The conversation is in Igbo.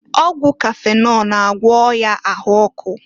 Ọgwụ kafịnọl na-agwọ ọya ahụ ọkụ.